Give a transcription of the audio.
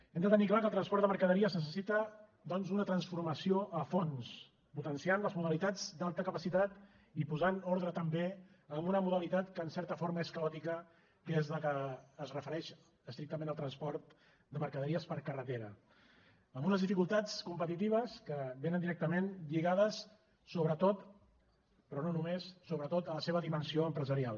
hem de tenir clar que el transport de mercaderies necessita doncs una transformació a fons potenciant les modalitats d’alta capacitat i posant ordre també a una modalitat que en certa forma és caòtica que és la que es refereix estrictament al transport de mercaderies per carretera amb unes dificultats competitives que vénen directament lligades sobretot però no només a la seva dimensió empresarial